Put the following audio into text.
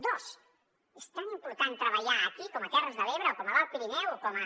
dos és tan important treballar aquí com a terres de l’ebre o com a l’alt pirineu o com a